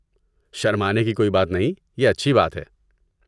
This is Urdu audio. شرمانے کی کوئی بات نہیں، یہ اچھی بات ہے۔